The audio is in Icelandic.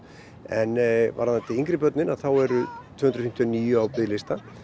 en varðandi yngri börnin þá eru tvö hundruð fimmtíu og níu á biðlista